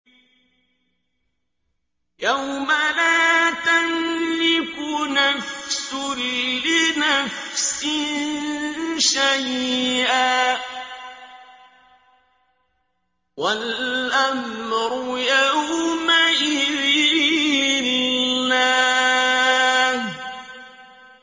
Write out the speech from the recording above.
يَوْمَ لَا تَمْلِكُ نَفْسٌ لِّنَفْسٍ شَيْئًا ۖ وَالْأَمْرُ يَوْمَئِذٍ لِّلَّهِ